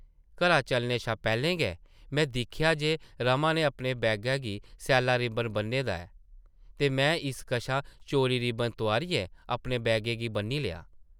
घरा चलने शा पैह्लें गै में दिक्खेआ जे रमा नै अपने बैगा गी सैल्ला रिब्बन बʼन्ने दा ऐ ते में इस कशा चोरी रिब्बन तोआरियै अपने बैगे गी बʼन्नी लेआ ।